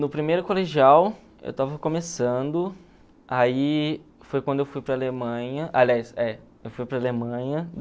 No primeiro colegial eu estava começando, aí foi quando eu fui para a Alemanha, aliás, é, eu fui para a Alemanha